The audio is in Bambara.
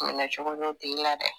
Minɛ cogo b'o tigi la dɛ